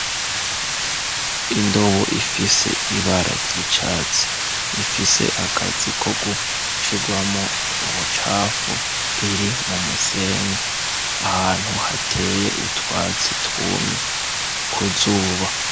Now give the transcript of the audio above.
Indobo ifise ibara ry'icatsi, ifise akazi ko gushigwamwo ubucafu ,iri mu musenyi ahantu hateye utwatsi twumye kuzuba.